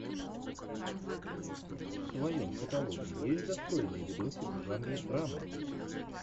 в твоем каталоге есть достойный видосик в жанре драма